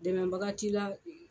Dɛmɛbaga t'i la.